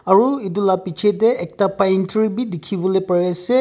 aru etu la piche te ekta pine tree bi dikhi wole pari ase.